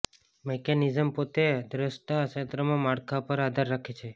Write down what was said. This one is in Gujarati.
મેકેનિઝમ પોતે દ્રષ્ટા ક્ષેત્રમાં માળખા પર આધાર રાખે છે